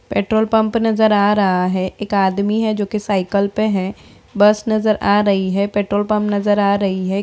Petrol pump नजर आ रहा है एक आदमी है जो की साइकिल पर है बस नजर आ रही है पेट्रोल पंप नजर आ रही है।